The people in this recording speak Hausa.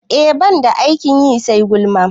E, ban da aikin yi sai gulma